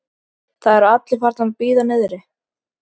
Það eru allir farnir að bíða niðri!